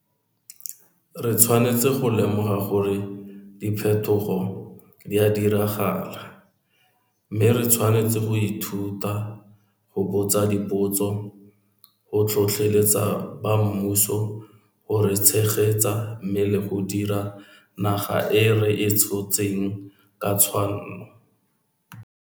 Re tshwanetse go lemoga gore diphethogo di a diragala, mme re tshwanetse go ithuta, go botsa dipotso, go tlhotlheletsa ba mmuso go re tshegetsa mme le go dirisa naga e re e tshotseng ka tshwanno.